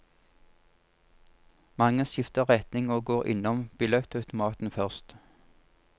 Mange skifter retning og går innom billettautomaten først.